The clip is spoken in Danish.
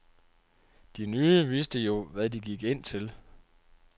De nye vidste jo, hvad de gik ind til.